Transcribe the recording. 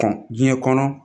Kɔn diɲɛ kɔnɔ